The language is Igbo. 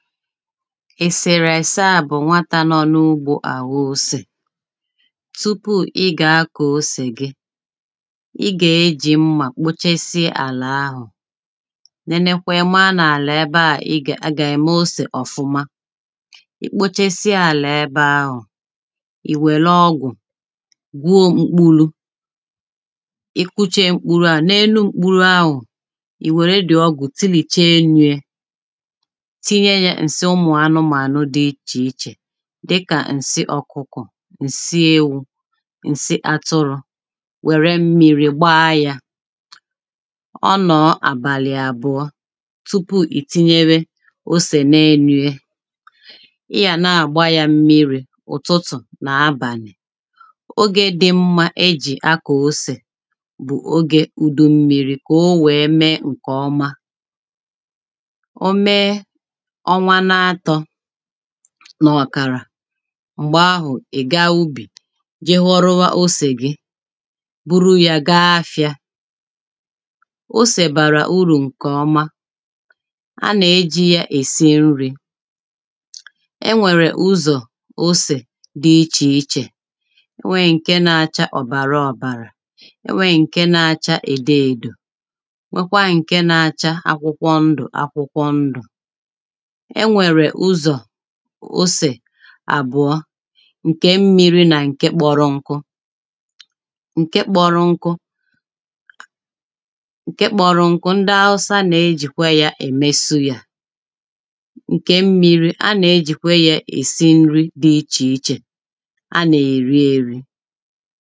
èsèrèse a bụ̀ nwatà nọ n’ụgbọ̄ àghọ osè tupū ị gā kụ̀ọ osè gi ị gā-èji mmà kpuchesi àlà ahụ̀ nenekwe ma nà àlà ebe ā ị ga aga ème osè ọ̀fụ̀ma ikpuchesi àlà ebe ahụ̀ ìwèlu ọgụ̀ gwuo mkpụlụ̄ ikuche mkpụlụ̀ ā n’enu mkpụlụ̀ ā ìwère dì ọgwụ̀ tilìshe n’enu yā tinye yā ǹsi ụmụ̀ anụmānụ̀ dị ichè ichè dị kà ǹsi ọkụkọ̀ ǹsi ewū ǹsi atụrụ̄ nwère mmiri gba yā ọ nọọ̄ àbàlị̀ àbụ̀ọ tupu ìtinyewe osè n’enū yē iyà na-àgba yā mmiri òtutù nà abànị̀ ogē dị mmā ejì akọ̀ osè bụ̀ ogè ùdu mmiri kowē mee ǹkè ọma o mee ọnwa n’atọ̄ nọ̀ kàrà m̀gbahụ̀ ị̀ ga ubì je ghọrọ ụwa osè gi gburu yā ga-afịā osè gbàrà urù ǹkè ọma ha nà-èji yā èsi nrī enwèrè ụzọ̀ osè dị ichè ichè nwe ǹke na-acha ọ̀bàrà ọ̀bàrà nwe ǹke na-acha ède èdò nwekwa ǹke na-acha akwụkwo ndụ̀ akwụkwọ ndụ̀ enwèrè ụzọ̀ osè àbụ̀ọ ǹke mmiri nà ǹke kpọ̀rọ̀nkụ ǹke kpọ̀rọ̀nkụ ǹke kpọ̀rọ̀nkụ ndi awụsa na-ejìkwe yā ème súyà ǹke mmiri ha na-ejìkwe yā èsi nri dị ichè ichè ha nà-èri erī